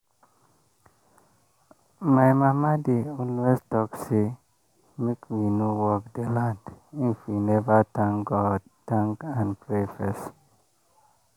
my mama dey always talk say make we no work the land if we never thank God thank and pray first.